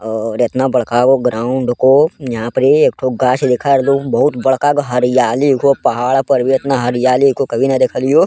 और एतना बड़का गो ग्राउंड को यहां परी एक ठो गाछ देखा रहलो बहुत बड़का गो हरियाली हुओ पहाड़ पर भी एतना हरियाली को कभी ना देखलियो।